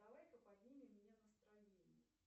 давай ка поднимем мне настроение